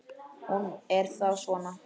Hún er þá svona!